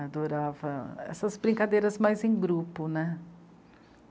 Adorava essas brincadeiras mais em grupo, né?